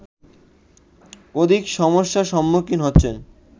অধিক সমস্যার সম্মুখীন হচ্ছেন